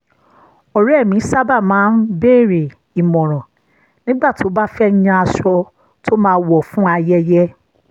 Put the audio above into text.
ọ̀rẹ́ mi sábà máa ń béèrè ìmọ̀ràn nígbà tó bá fẹ́ yan aṣọ tó máa wọ̀ fún ayẹyẹ